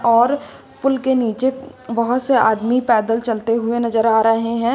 और पुल के नीचे बहुत से आदमी पैदल चलते हुए नजर आ रहे हैं।